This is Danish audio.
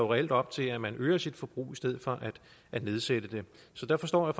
reelt op til at man øger sit forbrug i stedet for at nedsætte det så der forstår jeg